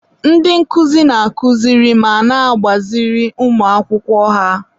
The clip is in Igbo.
ndị nkụzi na-akụziri ma na-agbaziri ụmụ akwụkwọ ha.